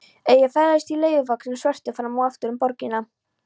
Ég ferðast í leiguvögnunum svörtu fram og aftur um borgina.